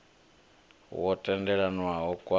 wo tendelanwaho khawo a u